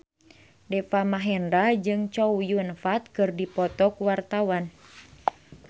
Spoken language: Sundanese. Deva Mahendra jeung Chow Yun Fat keur dipoto ku wartawan